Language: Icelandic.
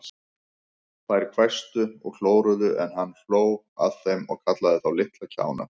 Þeir hvæstu og klóruðu, en hann hló að þeim og kallaði þá litla kjána.